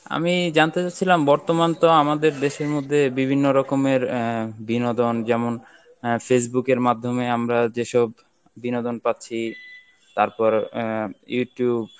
আমি জানতে চাচ্ছিলাম বর্তমান তো আমাদের দেশের মধ্যে বিভিন্ন রকমের আহ বিনোদন যেমন আহ Facebook এর মাধ্যমে আমরা যেসব বিনোদন পাচ্ছি তারপর আহ Youtube